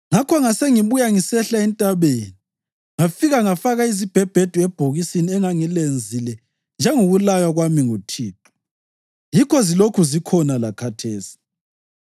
Ngakho ngasengibuya ngisehla entabeni ngafika ngafaka izibhebhedu ebhokisini engangilenzile njengokulaywa kwami nguThixo, yikho zilokhu zikhona lakhathesi.”